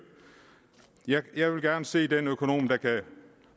jeg vil gerne se den økonom der kan